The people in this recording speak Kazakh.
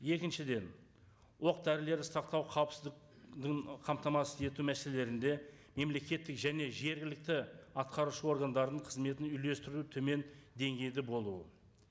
екіншіден оқ дәрілер сақтау қауіпсіздік қамтамасыз ету мәселелерінде мемлекеттік және жергілікті атқарушы органдардың қызметін үйлестіруі төмен деңгейде болуы